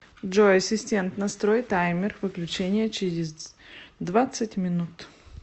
джой ассистент настрой таймер выключения через двадцать минут